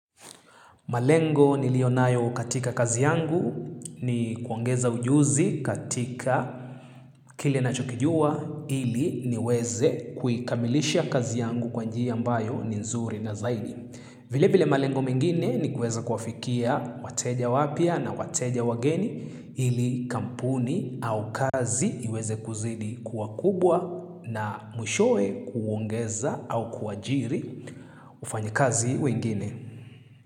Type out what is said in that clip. Malengo nilionayo katika kazi yangu ni kuongeza ujuzi katika kile ninachokijua ili niweze kuikamilisha kazi yangu kwa njia ambayo ni nzuri na zaidi. Vile vile malengo mengine ni kuweza kuwafikia wateja wapya na wateja wageni ili kampuni au kazi iweze kuzidi kuwa kubwa na mwishowe kuongeza au kuajiri wafanyikazi wengine.